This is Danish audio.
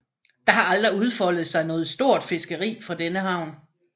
Der har aldrig udfoldet sig noget stort fiskeri fra denne havn